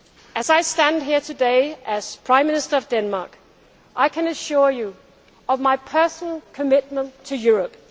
effort. As I stand here today, as Prime Minister of Denmark, I can assure you of my personal commitment to